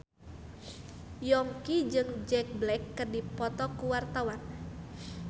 Yongki jeung Jack Black keur dipoto ku wartawan